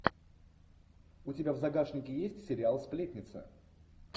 у тебя в загашнике есть сериал сплетница